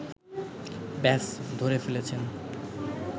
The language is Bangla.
ব্যস ধরে ফেলেছেন